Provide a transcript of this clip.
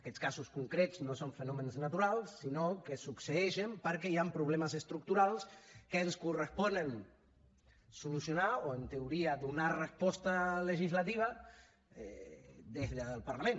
aquests casos concrets no són fenòmens naturals sinó que succeeixen perquè hi han problemes estructurals que ens correspon solucionar o en teoria donar resposta legislativa des del parlament